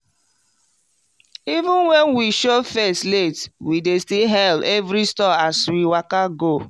even when we show face late we dey still hail every stall as we waka go.